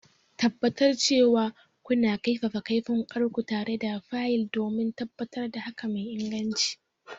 Tabbatar cewa kuna kaifafa kaifin wukarku tare da fayil don tabbatar da haƙa mai inganci.